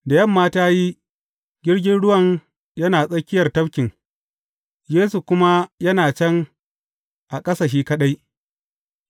Da yamma ta yi, jirgin ruwan yana tsakiyar tafkin, Yesu kuma yana can a ƙasa shi kaɗai.